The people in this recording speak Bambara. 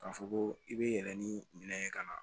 K'a fɔ ko i bɛ yɛlɛn ni minɛn ye ka na